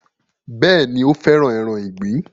Bẹ́ẹ̀ni, ó fẹ́ràn ẹran ìgbín